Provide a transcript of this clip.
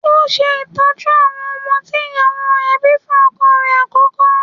Ó ń ṣe ìtọ́jú àwọn ọmọ tí ìyàwó rẹ̀ bíi fún ọkọ rẹ̀ àkọ́kọ́.